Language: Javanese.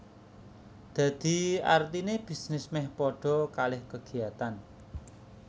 Dadi artine bisnis meh padha kalih kegiatan